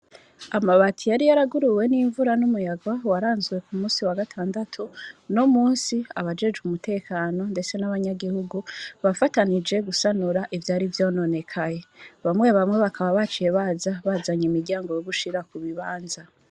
Amabati yari yaraguruwe n'imvura, n'umuyaga, waranzwe kumusi w'agatandatu, unomunsi abajejwe umutekano, ndetse nabanyaguhugu, bafatanije gusanura ivyari vyononekaye bamwe bamwe bakaba baje bazanye imiryango yogushira kubibanza.